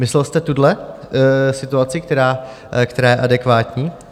Myslel jste tuhle situaci, která je adekvátní?